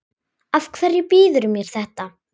Af hverju býðurðu mér þetta?